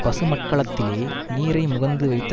பசுமட்கலத்திலே நீரை முகந்து வைத்த